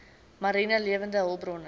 mariene lewende hulpbronne